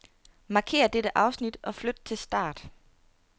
Markér dette afsnit og flyt til start.